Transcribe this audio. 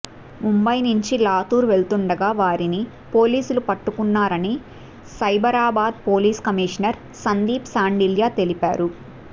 ముంబయి నుంచి లాతూర్ వెళ్తుండగా వారిని పోలీసులు పట్టుకున్నారని సైబరాబాద్ పోలీస్ కమిషనర్ సందీప్ శాండిల్య తెలిపారు